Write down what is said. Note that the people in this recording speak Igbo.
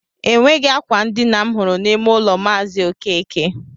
Enweghị akwa ndina m hụrụ n'ime ụlọ maazi okeke